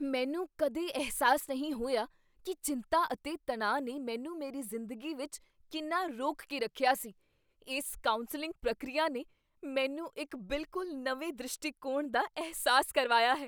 ਮੈਨੂੰ ਕਦੇ ਅਹਿਸਾਸ ਨਹੀਂ ਹੋਇਆ ਕੀ ਚਿੰਤਾ ਅਤੇ ਤਣਾਅ ਨੇ ਮੈਨੂੰ ਮੇਰੀ ਜ਼ਿੰਦਗੀ ਵਿੱਚ ਕਿੰਨਾ ਰੋਕ ਕੇ ਰੱਖਿਆ ਸੀ। ਇਸ ਕਾਉਂਸਲਿੰਗ ਪ੍ਰਕਿਰਿਆ ਨੇ ਮੈਨੂੰ ਇੱਕ ਬਿਲਕੁਲ ਨਵੇਂ ਦ੍ਰਿਸ਼ਟੀਕੋਣ ਦਾ ਅਹਿਸਾਸ ਕਰਵਾਇਆ ਹੈ!